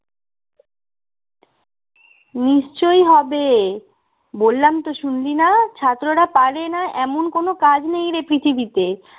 নিশ্চই হবে বললাম তো শুনলি না ছাত্ররা পারে না এমন কোনও কাজ নেই রে পৃথিবীতে